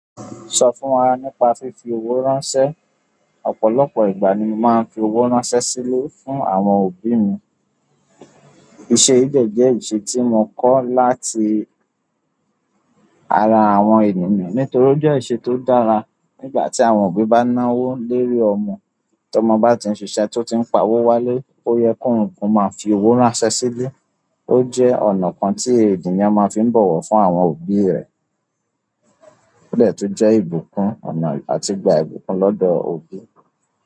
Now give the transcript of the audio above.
Sọ fún wa nípa fífi owó ránṣẹ́. Ọ̀pọ̀lọpọ̀ ìgbà ni mo máa ń fi owó ránṣẹ́ síle fún àwọn òbí mi. Iṣe yi de je ìṣe tí mo kọ́ láti ara àwọn ènìyàn nítorí ó jẹ́ ìṣe tó dára. Nígbà tí àwọn òbí bá ná owó lérí ọmọ, tọmọ bá ti ń ṣiṣẹ́ tó ti ń pa owó wálé, ó yẹ kó ń fi owó ránṣẹ́ sílè. Ó jẹ́ ọ̀nà kan tí ènìyàn máa fi ń bọ̀wọ̀ fún àwọn òbí rẹ̀. O de tun je ibunkun ọ̀nà a ti gba ibunkun lodo òbí.